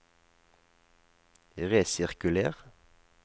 resirkuler